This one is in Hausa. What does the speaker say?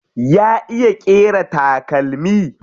Ya iya ƙera takalmi?